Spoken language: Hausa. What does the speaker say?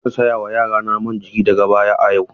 Zan saya wa yarana man jiki daga baya a yau.